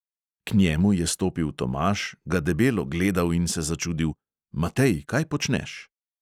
K njemu je stopil tomaž, ga debelo gledal in se začudil: "matej, kaj počneš?